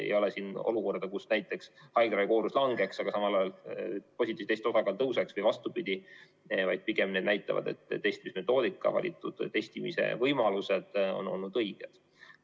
Ei ole olukorda, kus näiteks haiglaravikoormus langeks, aga samal ajal positiivsete testide osakaal tõuseks või vastupidi, vaid pigem need näitavad, et testide metoodika, valitud testimise võimalused on olnud õiged.